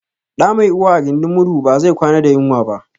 Ɗa mai uwa a gindin murhu ba zai kwana da yunwa ba